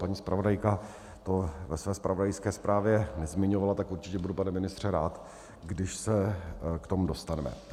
Paní zpravodajka to ve své zpravodajské zprávě nezmiňovala, tak určitě budu, pane ministře, rád, když se k tomu dostaneme.